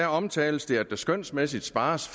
omtales det at der skønsmæssigt spares